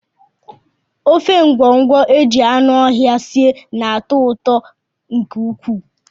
Ofe ngwọngwọ e ji anụ ọhịa sie na-atọ ụtọ nke ukwuu